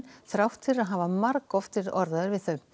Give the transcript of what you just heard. þrátt fyrir að hafa margoft verið orðaður við þau